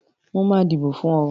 Màá dìbò fún ọ.